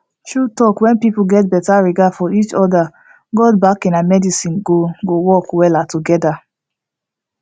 true talk when people get better regard for each other god backing and medicine go go work well together